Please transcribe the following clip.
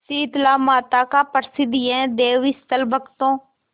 शीतलामाता का प्रसिद्ध यह देवस्थल भक्तों